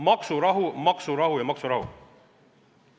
Maksurahu, maksurahu ja maksurahu.